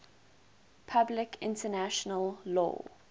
public international law